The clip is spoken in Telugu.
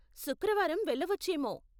శుక్రవారం వెళ్ళవచ్చేమో.